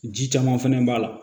Ji caman fɛnɛ b'a la